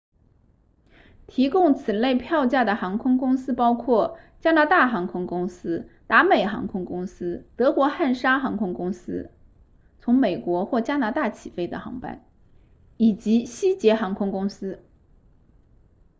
提供此类票价的航空公司包括加拿大航空公司达美航空公司德国汉莎航空公司从美国或加拿大起飞的航班以及西捷航空公司